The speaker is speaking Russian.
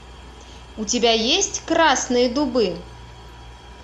у тебя есть красные дубы